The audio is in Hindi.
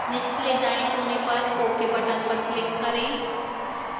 निचले दाएं कोने पर ok button पर click करें